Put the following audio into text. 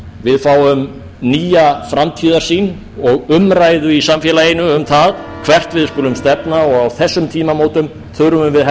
fólk við fáum nýja framtíðarsýn og umræðu í samfélaginu um það hvert við skulum stefna og á þessum tímamótum þurfum við